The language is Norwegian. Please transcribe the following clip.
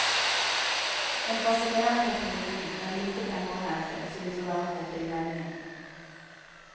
En fascinerende teknologi, men lite penger å hente, synes å være hovedinnvendingen.